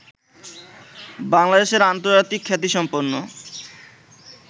বাংলাদেশের আন্তর্জাতিক খ্যাতিসম্পন্ন